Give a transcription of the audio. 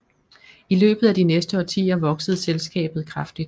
I løbet af de næste årtier voksede selskabet kraftigt